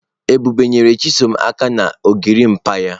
Ebube nyere chisom aka na gorimapa ya.